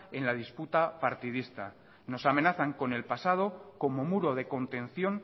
en la disputa partidista nos amenazan con el pasado como muro de contención